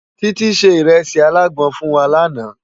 Titi sé irèsi àlágbòn fún wá làná